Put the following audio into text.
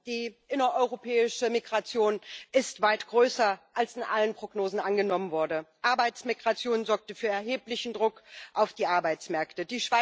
Die innereuropäische Migration ist weit größer, als in allen Prognosen angenommen wurde. Arbeitsmigration sorgte für erheblichen Druck auf die Arbeitsmärkte.